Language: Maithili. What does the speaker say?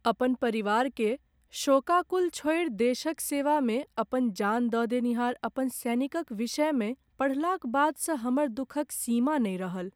अपन परिवारकेँ शोकाकुल छोड़ि, देशक सेवामे अपन जान दऽ देनिहार अपन सैनिकक विषयमे पढ़लाक बादसँ हमर दुखक सीमा नहि रहल अछि।